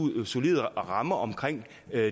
er